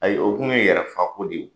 Ayi , o tun ye yɛrɛ faga ko de ye